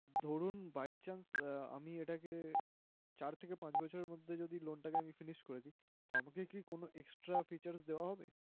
ধরুন, by chance আমি এটাকে চার থেকে পাঁচ বছরের মধ্যে যদি loan টাকে আমি finish করে দিই, তো আমাকে কি কোন extra features দেয়া হবে?